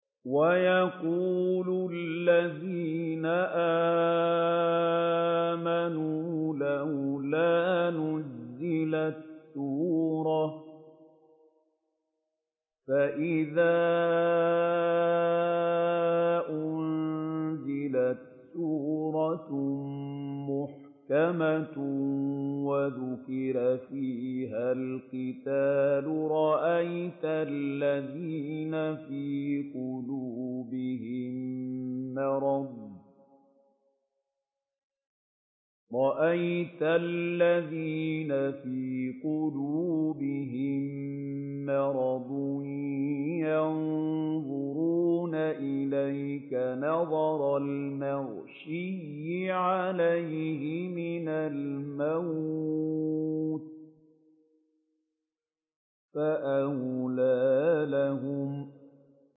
وَيَقُولُ الَّذِينَ آمَنُوا لَوْلَا نُزِّلَتْ سُورَةٌ ۖ فَإِذَا أُنزِلَتْ سُورَةٌ مُّحْكَمَةٌ وَذُكِرَ فِيهَا الْقِتَالُ ۙ رَأَيْتَ الَّذِينَ فِي قُلُوبِهِم مَّرَضٌ يَنظُرُونَ إِلَيْكَ نَظَرَ الْمَغْشِيِّ عَلَيْهِ مِنَ الْمَوْتِ ۖ فَأَوْلَىٰ لَهُمْ